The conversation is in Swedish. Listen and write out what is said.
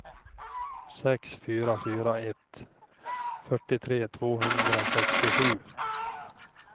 sex fyra fyra ett fyrtiotre tvåhundrasextiosju